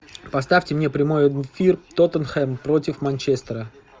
поставьте мне прямой эфир тоттенхэм против манчестера